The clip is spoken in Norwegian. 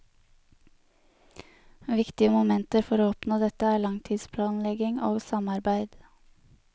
Viktige momenter for å oppnå dette er langtidsplanlegging og samarbeid.